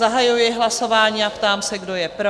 zahajuji hlasování a ptám se, kdo je pro?